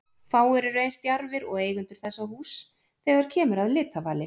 Fáir eru eins djarfir og eigendur þessa húss þegar kemur að litavali.